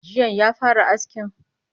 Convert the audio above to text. Jiyan ya fara askin?